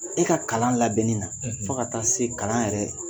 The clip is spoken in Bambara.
E ka kalan labɛnni na fo ka taa se kalan yɛrɛ.